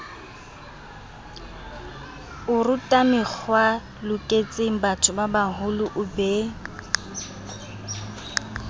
orutamekgwae loketsengbatho babaholo o be